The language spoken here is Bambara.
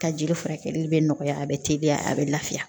Ka jeli furakɛli bɛ nɔgɔya a bɛ teliya a bɛ lafiya